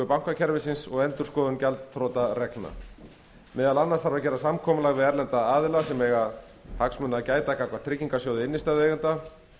bankakerfisins og endurskoðun gjaldþrotareglna meðal annars þarf að gera samkomulag við erlenda aðila sem eiga hagsmuna að gæta gagnvart tryggingasjóði innstæðueigenda